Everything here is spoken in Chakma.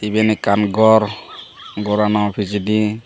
iben ekkan gor gorano pijedi.